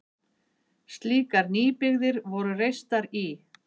Slíkar nýbyggðir voru reistar í